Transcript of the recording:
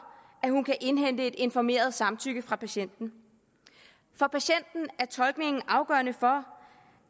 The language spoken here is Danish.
at hun kan indhente et informeret samtykke fra patienten er tolkningen afgørende for